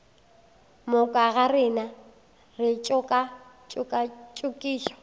moka ga rena re tšokatšokišwa